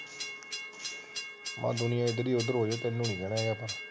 ਆਹੋ ਦੁਨੀਆ ਇਧਰ ਤੋਂ ਉਧਰ ਹੋ ਜਾਵੇ ਤੈਨੂੰ ਨੀ ਕਹਿਣਾ ਯਾਰ